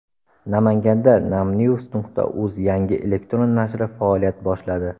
Namanganda Namnews.uz yangi elektron nashri faoliyat boshladi.